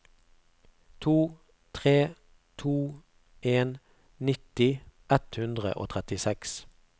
to tre to en nitti ett hundre og trettiseks